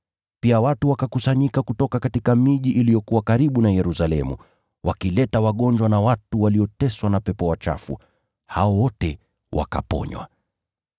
Pia watu wakakusanyika kutoka miji iliyokuwa karibu na Yerusalemu, wakileta wagonjwa na watu walioteswa na pepo wachafu. Hao wote wakaponywa.